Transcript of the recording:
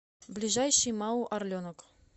ближайший мау орленок